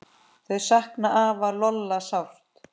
Þau sakna afa Lolla sárt.